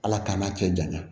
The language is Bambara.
Ala k'an' cɛ janya